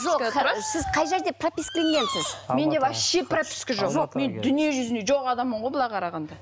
жоқ сіз қай жерде пропискіленгенсіз менде вообще прописка жоқ мен дүниежүзінде жоқ адаммын ғой былай қарағанда